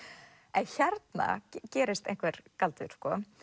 en hérna gerist einhver galdur